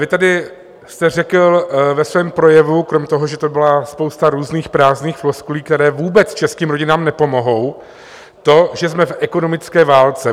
Vy tedy jste řekl ve svém projevu, kromě toho, že to byla spousta různých prázdných floskulí, které vůbec českým rodinám nepomohou, to, že jsme v ekonomické válce.